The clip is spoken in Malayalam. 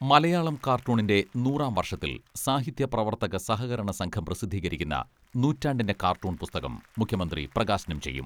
മലയാളം കാർട്ടൂണിന്റെ നൂറാം വർഷത്തിൽ സാഹിത്യ പ്രവർത്തക സഹകരണ സംഘം പ്രസിദ്ധീകരിക്കുന്ന നൂറ്റാണ്ടിന്റെ കാർട്ടൂൺ പുസ്തകം മുഖ്യമന്ത്രി പ്രകാശനം ചെയ്യും.